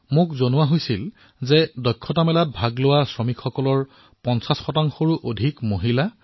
মোক কোৱা হৈছে যে হুনাৰ হাটত অংশগ্ৰহণ কৰা লোকসকলৰ অধিকাংশই হল মহিলা